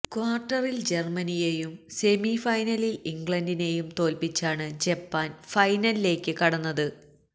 ക്വാർട്ടറിൽ ജർമ്മനിയെയും സെമി ഫൈനലിൽ ഇംഗ്ലണ്ടിനെയും തോൽപ്പിച്ചാണ് ജപ്പാൻ ഫൈനലിലേക്ക് കടന്നത്